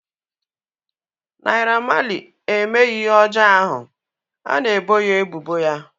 Naira Marley emeghị ihe ọjọọ ahu a na-ebo ya ebubo ya